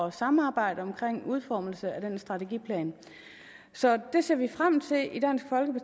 at samarbejde om en udformning af den strategiplan så det ser vi frem